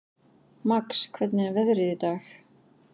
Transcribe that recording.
Max, hvernig er veðrið í dag?